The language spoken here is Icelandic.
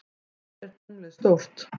Hvað er tunglið stórt?